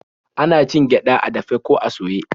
Ana cin gyaɗa a dafe ko a soye.